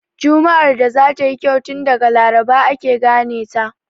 Juma'ar da za ta yi kyau, tun daga Laraba ake gane ta.